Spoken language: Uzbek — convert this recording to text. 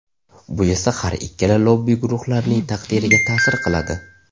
Bu esa har ikkala lobbi guruhlarining taqdiriga ta’sir qiladi.